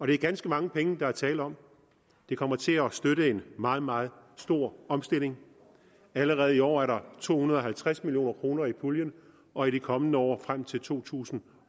er ganske mange penge der er tale om det kommer til at støtte en meget meget stor omstilling allerede i år er der to hundrede og halvtreds million kroner i puljen og i de kommende år frem til to tusind